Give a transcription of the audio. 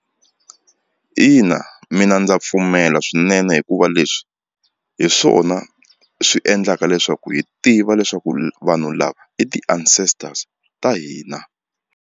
Ina mina ndza pfumela swinene hikuva leswi hi swona swi endlaka leswaku hi tiva leswaku vanhu lava i ti-ancestors ta hina.